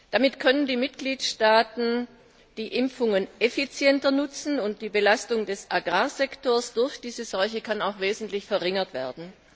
Damit können die Mitgliedstaaten die Impfungen effizienter nutzen, und die Belastung des Agrarsektors durch diese Seuche kann wesentlich verringert werden.